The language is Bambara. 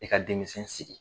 E ka denmisɛn sigi.